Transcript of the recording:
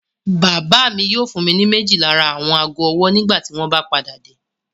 Bàbá mi yóò fún mi ní méjì lára àwọn ago-ọwọ́ nígbà tí wọ́n bá padà dé.